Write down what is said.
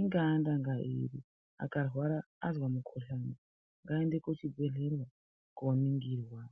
ingaa ndanga iri, azwa mukhuhlani ngaaende kuchibhedhlera, kooningirwa.